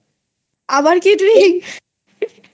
আবার কি কিনবি?